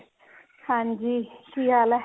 ਹਾਂਜੀ ਕੀ ਹਾਲ ਏ